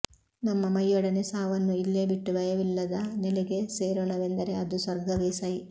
ನಮ್ಮ ಮೈಯೊಡನೆ ಸಾವನ್ನೂ ಇಲ್ಲೇ ಬಿಟ್ಟು ಭಯವಿಲ್ಲದ ನೆಲೆಗೆ ಸೇರೋಣವೆಂದರೆ ಅದು ಸ್ವರ್ಗವೇ ಸೈ